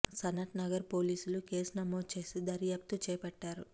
సనత్ నగర్ పోలీసులు కేసు నమోదు చేసి దర్యాప్తు చేపట్టారు